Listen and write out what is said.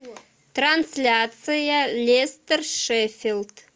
трансляция лестер шеффилд